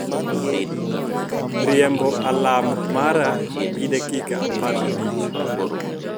riembo alarm mara gi dakika apar gi abich